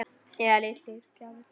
Eða litlar gjafir.